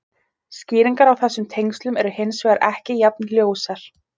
Skýringar á þessum tengslum eru hins vegar ekki jafn ljósar.